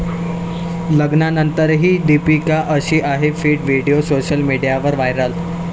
लग्नानंतरही दीपिका 'अशी' आहे फिट, व्हिडिओ सोशल मीडियावर व्हायरल